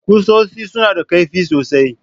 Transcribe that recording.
Kusoshi suna da kaifi sosai.